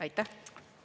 Aitäh!